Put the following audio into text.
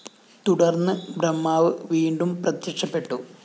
തുടര്‍ന്ന് ബ്രഹ്മാവ് വീണ്ടും പ്രത്യക്ഷപ്പെട്ടു